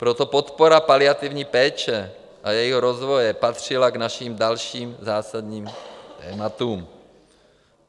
Proto podpora paliativní péče a jejího rozvoje patřila k našim dalším zásadním tématům.